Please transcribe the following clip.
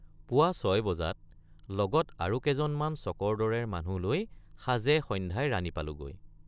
পুৱা ৬ বজাত লগত আৰু কেজন মান চকৰদৰে মানুহ লৈ সাজেসন্ধ্যায় ৰাণী পালোগৈ।